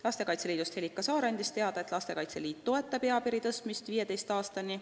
Lastekaitse Liidu esindaja Helika Saar andis teada, et Lastekaitse Liit toetab eapiiri tõstmist 15 aastani.